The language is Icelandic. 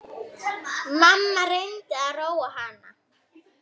Mamma reyndi að róa hana.